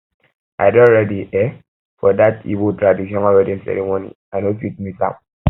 i don ready um for dat igbo um traditional wedding ceremony i no fit miss am